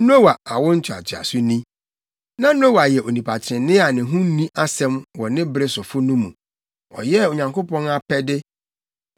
Noa awo ntoatoaso ni. Na Noa yɛ onipa ɔtreneeni a ne ho nni asɛm wɔ ne bere sofo no mu. Ɔyɛɛ Onyankopɔn apɛde.